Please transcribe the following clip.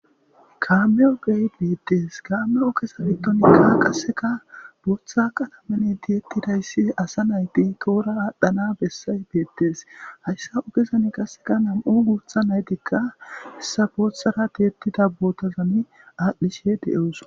kaame7o gee beettes kaame7o kesa bitonikka qasseka booththa qatamane tiyettidayssi asa nayti koora aadhdhana bessay beettes hayssa ugezan qasseka nam7u guutha naytikka hessa boothara tiyettida bootazani aadhdhishe de7oos